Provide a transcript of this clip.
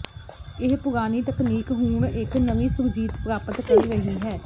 ਇਹ ਪੁਰਾਣੀ ਤਕਨੀਕ ਹੁਣ ਇੱਕ ਨਵੀਂ ਸੁਰਜੀਤ ਪ੍ਰਾਪਤ ਕਰ ਰਹੀ ਹੈ